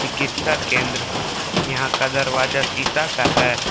कित्सा केंद्र यहां का दरवाजा शीशा का है।